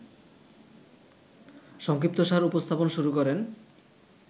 সংক্ষিপ্তসার উপস্থাপন শুরু করেন